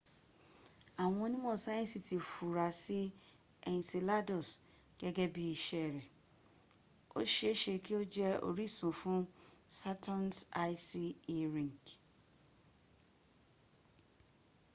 àwọn onímọ̀ sáyẹnsì ti funra sí́ enceladus gẹ́gẹ́ bí iṣẹ́ rẹ̀ o ṣe e ṣe kí o jẹ orísun fuhn saturn's icy e ring